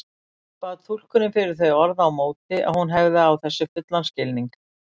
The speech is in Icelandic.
Bað túlkinn fyrir þau orð á móti að hún hefði á þessu fullan skilning.